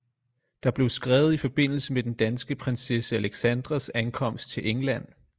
Der blev skrevet i forbindelse med den danske prinsesse alexandras ankomst til england